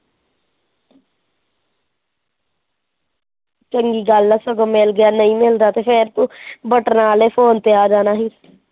ਚੰਗੀ ਗੱਲ ਐ ਸਗੋਂ ਮਿਲ ਗਿਆ ਨਹੀਂ ਮਿਲਦਾ ਤਾਂ ਫਿਰ ਤੂੰ ਬਟਨਾ ਵਾਲੇ phone ਤੇ ਆ ਜਾਣਾ ਸੀ।